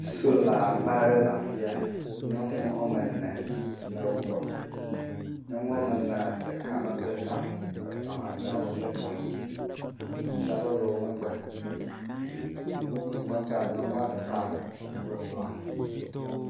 Solagba aɖe le afia. Nyɔnu woame ne le wogbɔ. Nyɔnu woame nea, ɖeka mebla ta o. Etɔ̃ mamlɛeawo bla ta. Atsi aɖewo le wo megbe. Wo megbea, nyɔnua ɖeka ekpla blaa.